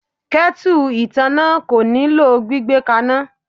Ketu ìtànná kò nílò gbígbé kaná.